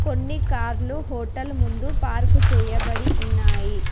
కొన్ని కార్లు హోటల్ ముందు పార్కు చేయబడి ఉన్నాయి.